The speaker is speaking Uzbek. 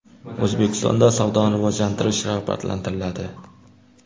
O‘zbekistonda savdoni rivojlantirish rag‘batlantiriladi.